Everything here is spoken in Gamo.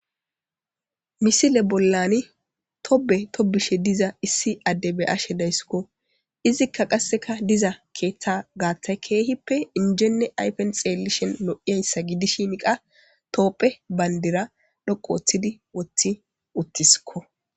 Misile bollani tobe tobishe diza issi ade beyashe daysiko , izzika qaseka diza keetha gathayi kehippe injenne ayfeni xenaw lo'izaysa gidishin qasi tophiye bandira dhoqu othidi wothi utisko.